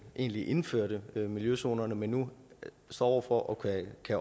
egentlig indførte miljøzonerne men nu står over for at kunne